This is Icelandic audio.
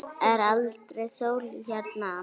Er aldrei sól hérna, amma?